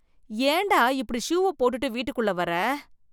ஏண்டா இப்படி ஷூவ போட்டுட்டு வீட்டுக்குள்ள வர?